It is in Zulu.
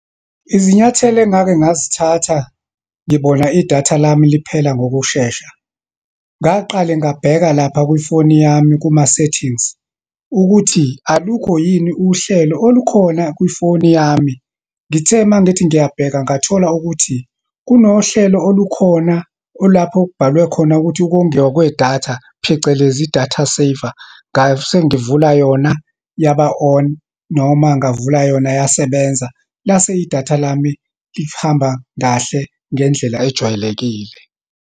Izinyathelo engake ngazithatha ngibona idatha lami liphela ngokushesha. Ngaqale ngabheka lapha kwifoni yami, kuma-settings, ukuthi alukho yini uhlelo olukhona kwifoni yami. Ngithe uma ngithi ngiyabheka, ngathola ukuthi kunohlelo olukhona olapho okubhalwe khona ukuthi, ukongiwa kwedatha, phecelezi i-data saver. Ngase ngivula yona, yaba on, noma ngavula yona, yasebenza. Lase idatha lami lihamba kahle, ngendlela ejwayelekile.